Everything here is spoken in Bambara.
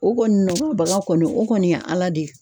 O kɔni nɔgɔyabaga kɔni o kɔni ye ala de ye.